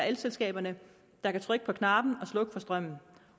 elselskaberne der kan trykke på knappen og slukke for strømmen